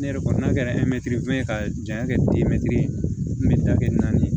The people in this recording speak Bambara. Ne yɛrɛ kɔni n'a kɛra ka janya kɛ naani